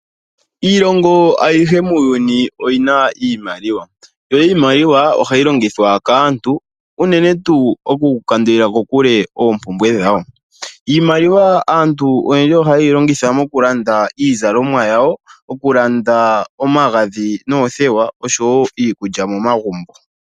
Iilongo ayihe muuyuni oyina iimaliwa yo iimaliwa ohayi longithwa kaantu unene tuu oku kandulila kokule oompumbwe dhawo. Iimaliwa aantu oyendji oha ye yi longitha mokulanda iizalomwa yawo, okulanda omagadhi noothewa, oshowo iikulya momagumbo.